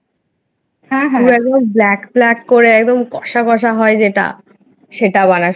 তুই একদম Black Black করে একদম কষা কষা যেটা সেটা বানাস না,